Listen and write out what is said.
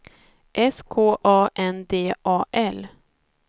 S K A N D A L